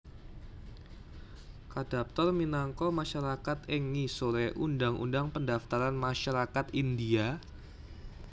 kadaptar minangka masyarakat ing ngisore Undang Undang Pendaftaran Masyarakat India